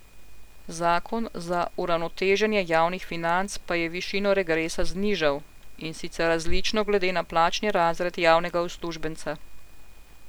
Zakon za uravnoteženje javnih financ pa je višino regresa znižal, in sicer različno glede na plačni razred javnega uslužbenca.